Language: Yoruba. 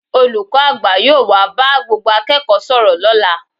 Olùkọ́ àgbà yóò wá bá gbogbo akẹ́kọ̀ọ́ sọ̀rọ̀ lọ́la